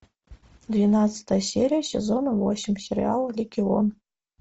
двенадцатая серия сезона восемь сериала легион